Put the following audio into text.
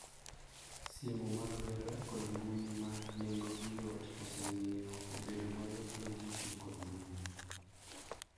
Simu mag lwedo kod mbui ma nengo gi yot osemiyo obedo mayot ne ji tiyo kod mbui.